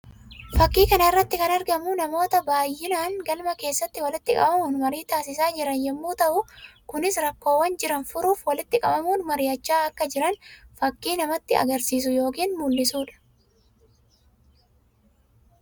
Fakkii kana irratti kan argamu namoota baayyinaan galma keessatti walitti qabamuun marii taasisaa jiran yammuu ta'u; kunis rakkoowwan jiran furuuf walitti qabamuun mar'iachaa akka jiran fakkii namatti agarsiisu yookiin mul'isuudha.